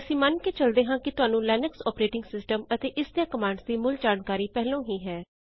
ਅਸੀ ਮੰਨ ਕੇ ਚਲਦੇ ਹਾਂ ਕਿ ਤੁਹਾਨੂੰ ਲਿਨਕਸ ਓਪਰੇਟਿੰਗ ਸਿਸਟਮ ਅਤੇ ਇਸ ਦੀਆਂ ਕਮਾੰਡਸ ਦੀ ਮੂਲ ਜਾਣਕਾਰੀ ਪਹਿਲੇ ਹੀ ਹੈ